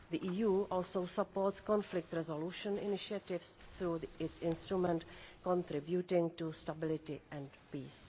The EU also supports conflict resolution initiatives through its Instrument contributing to Stability and Peace.